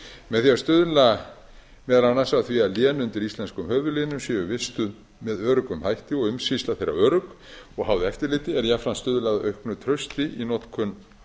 með því að stuðla meðal annars að því að lén undir íslenskum höfuðlénum séu vistuð með öruggum hætti og umsýsla þeirra örugg og háð eftirliti er jafnframt stuðlað að auknu trausti í notkun